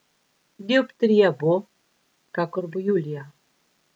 Dioptrija bo, kakor bo julija.